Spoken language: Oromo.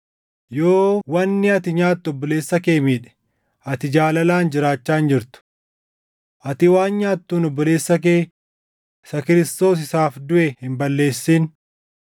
Yoo wanni ati nyaattu obboleessa kee miidhe, ati jaalalaan jiraachaa hin jirtu. Ati waan nyaattuun obboleessa kee isa Kiristoos isaaf duʼe hin balleessin.